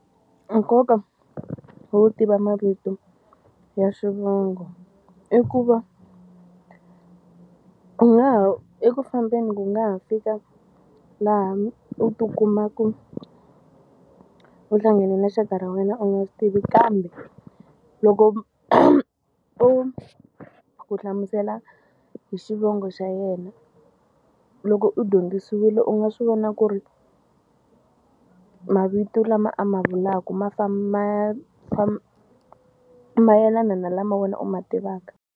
Nkoka wo tiva mavito ya swivongo i ku va u nga ha eku fambeni ku nga ha fika laha u tikumaka u hlangane na xaka ra wena u nga swi tivi kambe loko u ku hlamusela hi xivongo xa yena loko u dyondzisiwile u nga swi vona ku ri mavito lama a ma vulaka ma famba ma mayelana na lama wena u ma tivaka.